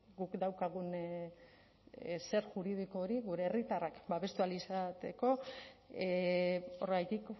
guk daukagun zer juridiko hori gure herritarrak babestu ahal izateko horregatik